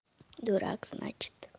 дурак